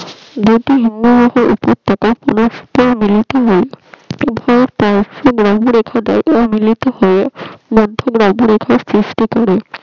রেখে দেই মিলত হয়ে চেষ্টা করে